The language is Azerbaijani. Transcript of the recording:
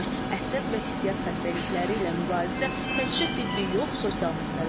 Əsəb və hissiyyat xəstəlikləri ilə mübarizə təkcə tibbi yox, sosial məsələdir.